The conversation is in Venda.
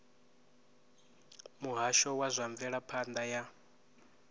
muhasho wa zwa mvelaphanda ya